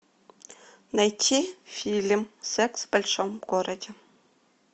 найти фильм секс в большом городе